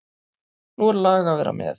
Nú er lag að vera með!